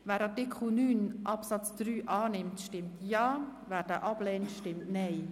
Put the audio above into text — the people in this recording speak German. Wer Artikel 9 Absatz 3 zustimmt, stimmt Ja, wer dies ablehnt, stimmt Nein.